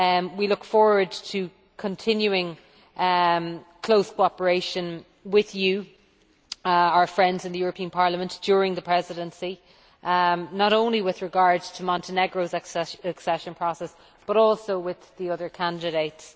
We look forward to continuing close cooperation with you our friends in the European Parliament during the Presidency, not only with regard to Montenegro's accession process but also with the other candidates.